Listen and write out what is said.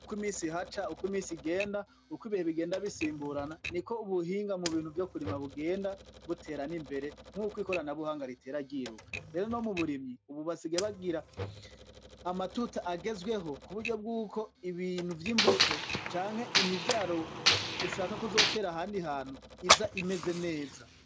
Uko i misi haca uko imisi igenda uko ibihe bigenda bisimburana ni ko ubuhinga mu bintu vyo kurima bugenda butera n'imbere mw'uko ikorana buhanga ritera ryiruka rero no mu burimyi ububasige bagira amatuta agezweho ku buryo bw'uko ibintu vy'imbuto canke imivyaro ushaka kuzotera handi hantu iza bimeze neza.